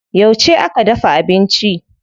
Yauce aka dafa abinci?